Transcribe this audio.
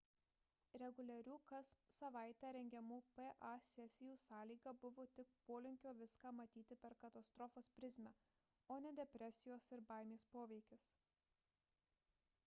reguliarių kas savaitę rengiamų pa sesijų sąlyga buvo tik polinkio viską matyti per katastrofos prizmę o ne depresijos ir baimės poveikis